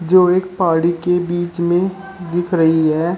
जो एक पहाड़ी के बीच में दिख रही है।